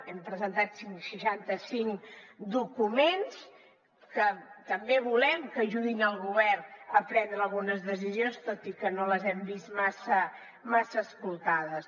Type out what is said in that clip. hem presentat cent i seixanta cinc documents que també volem que ajudin el govern a prendre algunes decisions tot i que no les hem vist massa escoltades